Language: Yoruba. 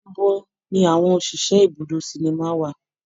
Ibo ni àwọn òṣìṣẹ́ ibùdó sinimá wà?